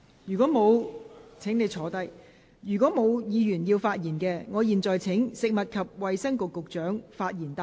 如果沒有議員想發言，我現在請食物及衞生局局長發言答辯。